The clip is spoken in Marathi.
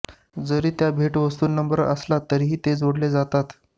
जरी त्या भेटवस्तू नम्र असला तरीही ते जोडले जातात